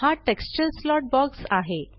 हा texture slot box आहे